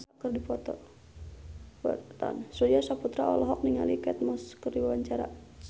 Surya Saputra olohok ningali Kate Moss keur diwawancara